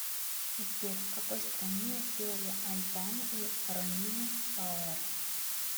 сбер в какой стране сделали аль бано и ромина пауэр